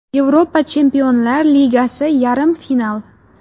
Yevropa Chempionlar Ligasi Yarim final.